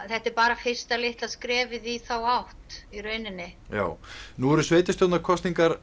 þetta er bara fyrsta litla skrefið í þá átt nú eru